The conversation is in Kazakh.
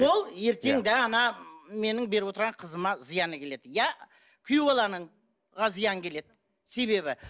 сол ертең де ана менің беріп отырған қызыма зияны келеді иә күйеу баланың зиян келеді себебі